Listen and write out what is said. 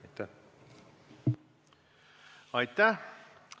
Aitäh!